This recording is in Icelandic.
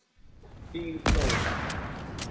Þín Dóra.